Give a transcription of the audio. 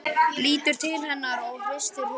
Lítur til hennar og hristir höfuðið.